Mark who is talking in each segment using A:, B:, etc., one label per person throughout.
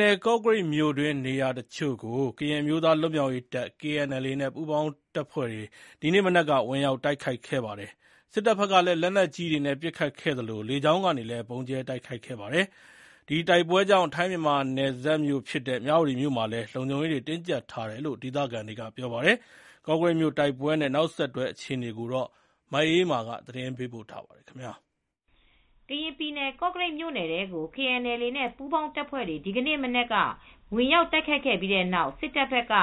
A: နယ် ကော့ကရိတ်မြို့တွင်း နေရာတချို့ကို ကရင်အမျိုးသား လွတ်မြောက်ရေးတပ် KNLA နဲ့ ပူးပေါင်းတပ်ဖွဲ့တွေ ဒီနေ့မနက်က ဝင်ရောက်တိုက်ခိုက်ခဲ့ပါတယ်။ စစ်တပ်ဘက်ကလည်း လက်နက်ကြီးတွေနဲ့ပစ်ခတ်သလို လေကြောင်းကနေ ဗုံးကြဲတိုက်ခိုက်ခဲ့ပါတယ်။ ဒီတိုက်ပွဲကြောင့် ထိုင်းမြန်မာနယ်စပ် မြဝတီမြို့မှာလည်းလုံခြုံရေးတွေ တင်းကြပ်ထားတယ်လို့ ဒေသခံတွေက ပြောပါတယ်။ ကော့ကရိတ်မြို့ တိုက်ပွဲနဲ့ နောက်ဆက်တွဲအခြေအနေ မအေးအေးမာ သတင်းပေးပို့ထားပါတယ်။ က
B: ရင်ပြည်နယ် ကော့ကရိတ်မြို့ထဲကို KNLA နဲ့ ပူးပေါင်းတပ်ဖွဲ့တွေ ဒီနေ့မနက်က ဝင်ရောက်တိုက်ခိုက်ခဲ့တဲ့ပြီးတဲ့နောက် စစ်တပ်ဘက်က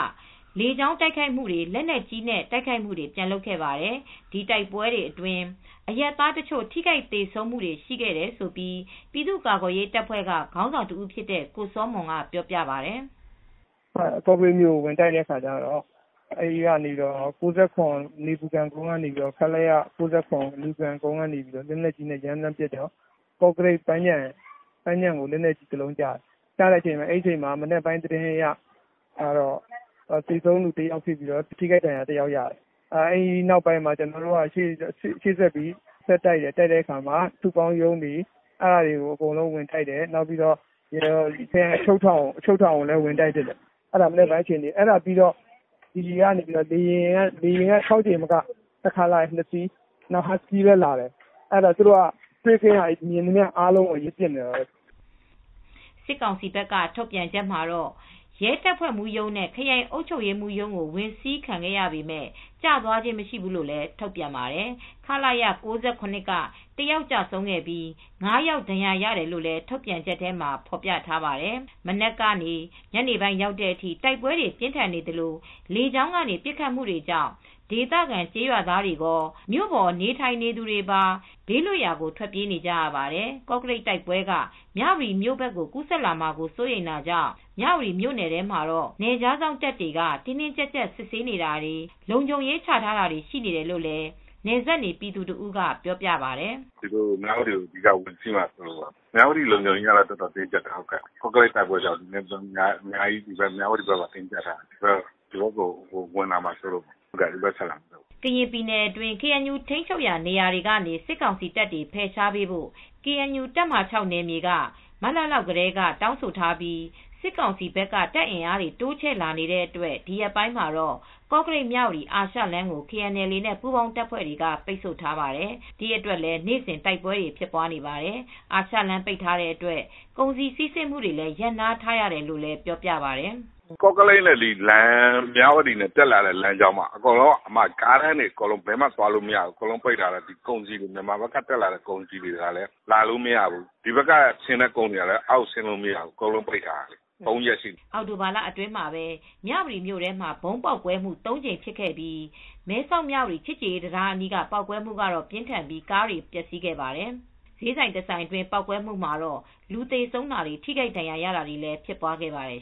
B: လေကြောင်းကရော လက်နက်ကြီးတွေနဲ့ပါ ပြန်ပြီးတိုက်ခိုက်ခဲ့ပါတယ်။ ဒီတိုက်ပွဲတွေအတွင်း အရပ်သားတချို့ ထိခိုက်သေဆုံးခဲ့တယ်လို့ ပြည်သူ့ကာကွယ်ရေးတပ်ဖွဲ့ကခေါင်းဆောင်တဦးဖြစ်တဲ့ကိုစောမွန်ကပြောပါတယ်။
C: “ကော့ကရိတ်မြို့ကိုဝင်တိုက်တဲ့အခါကျတော့ အဲဒီကနေ ခလရ နေပူခံကုန်းကနေ လက်နက်ကြီးနဲ့ရမ်းသမ်းပစ်တော့ ကောကရိတ်ပန်းခြံကိုလက်နက်ကြီးတလုံးကျတယ်။ မနက်ပိုင်းကတော့ သေဆုံးသူတယောက်ဖြစ်ပြီး လက်နက်ကြီးနဲ့ ဒဏ်ရာရသူတယောက်ရှိတယ်။ အဲဒီကနေ ကျနော်တို့ဘက်က ရှေ့ဆက်ပြီး ဆက်တိုက်တယ် တိုက်တဲ့အခါမှာ စုပေါင်းရုံးတွေကိုအဲဒါတွေကို ဝင်တိုက်တယ်။ ခရိုင်အချုပ်ထောင်ကိုလည်း ဝင်တိုက်တယ်။ အဲဒါက မနက်ပိုင်းကအခြေအနေပါ။ အဲဒါပြီးတော့ လေယာဉ် ၆ ကြိမ်မကဘူး။ တခါလာရင် နှစ်စီးလာတယ်။ ဟတ်စကီးလည်းလာတယ်။ သူတို့က မြင်သမျှကိုပစ်နေတာပေါ့။
B: ” စစ်ကောင်စီဘက်က ထုတ်ပြန်ချက်မှာတော့ ရဲတပ်ဖွဲ့မှူးရုံးနဲ့ ခရိုင်အုပ်ချုပ်ရေးမှူးရုံးတို့ ဝင်စီးခံရပေမယ့် ကျသွားခြင်း မရှိဘူးလို့ ထုတ်ပြန်ပါတယ်။ ခလရ ၉၇ က ၁ ယောက်ကျဆုံးပြီး ၅ ယောက်ဒဏ်ရာရတယ်လို့ ထုတ်ပြန်ချက်ထဲမှာ ပြောထားပါတယ်။ ပြင်းထန်တဲ့တိုက်ပွဲတွေဟာ မနက်ကနေ ညနေပိုင်းအထိဖြစ်ခဲ့ပြီး လေကြောင်းတိုက်ခိုက်မှုကြောင့် ဒေသခံကျေးရွာသားတွေကော မြို့ပေါ်နေထိုင်နေသူတွေပါ ဘေးလွတ်ရာကိုထွက်ပြေးနေကြရပါတယ်။ ကော့ကရိတ်တိုက်ပွဲက မြဝတီမြို့ဘက်ကိုကူးစက်လာမှာစိုးရိမ်တာကြောင့် မြဝတီမြို့နယ်ထဲမှာ နယ်ခြားစောင့်တပ်တွေက တင်းတင်းကြပ်ကြပ် စစ်ဆေးနေပြီး လုံခြုံရေးချထားတယ်လို့လည်း နယ်စပ်နေပြည်သူတဦးက ပြောပြပါတယ်
C: ။ “ မြဝတီကိုဝင်စီးမှာစိုးလို့ မြဝတီလုံခြုံရေးကတော့အတော်ကိုတင်းကြပ်နေတယ်။ ကော့ကရိတ်တိုက်ပွဲကြောင့် မြဝတီဘက်ကိုအတော်တင်းကြပ်နေတယ်။ ဒီဘက်ကို ဝင်လာမှာစိုးတာကြောင့်ပါ ဒီဘက်ကိုတက်လာမှာစိုး
B: လို့။” ကရင်ပြည်နယ်အတွင်း KNU ထိန်းချုပ်နယ်မြေတွေကနေ စစ်ကောင်စီတပ်တွေ ဖယ်ရှားပေးဖို့ KNU တပ်မဟာ က မတ်လလောက်ကတည်းက တောင်းဆိုထားပြီး စစ်ကောင်စီဘက်က တပ်အင်အားတွေတိုးချဲ့လာနေတဲ့အတွက် ကော့ကရိတ်-မြဝတီအာရှလမ်းကို KNLA နဲ့ ပူးပေါင်းတပ်ဖွဲ့တွေက အခုရက်ပိုင်း ပိတ်ဆို့ထားတာကြောင့် နေ့စဉ် ထိတွေ့တိုက်ပွဲတွေဖြစ်နေပါတယ်။ အာရှလမ်းပိတ် ထားတဲ့အတွက် ကုန်စည်စီးဆင်းမှုတွေ ရပ်နားထားရတယ်လို့လည်းပြောပြပါတယ်။
C: “ ကော့ကရိတ်နဲ့ မြဝတီတက်လာတဲ့လမ်းကြောင်းက ကားလမ်းတွေဘယ်ဘက်မှသွားလို့မရဘူး။ မြန်မာဘက်က ကုန်စည်တွေကလည်းလာလို့မရဘူး။ ဒီဘက်မြဝတီဘက်ကသွားတဲ့ကုန်စည်တွေကလည်း သွားလို့မရဘူး။ ၃ ရက်ရှိပြီ
B: ။” အောက်တိုဘာလအတွင်းမှာပဲမြဝတီမြို့ထဲမှာ ဗုံးပေါက်ကွဲှမူ့ ၃ကြိမ်ဖြစ်ခဲ့ပြီး မဲဆောက်မြဝတီချစ်ကြည်ရေးတံတားအနီးပေါက်ကွဲမူ့ကတော့ပြင်းထန်ပြီး ကားတွေ ပျက်စီးခဲ့ပါတယ် ဈေးဆိုင်တဆိုင်အတွင်းပေါက်ကွဲမူ့မှာတော့လူသေဆုံးတာ ထိခိုက်ဒဏ်ရာရတာတွေဖြစ်ပွားခဲ့ပါတယ်